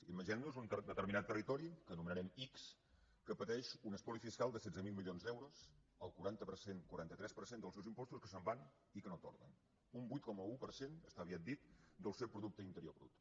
imaginem nos un determinat territori que anomenarem ics que pateix un espoli fiscal de setze mil milions d’euros el quaranta tres per cent dels seus impostos que se’n van i que no tornen un vuit coma un per cent està aviat dit del seu producte interior brut